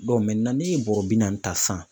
n'e ye bɔrɛ bi naani ta sisan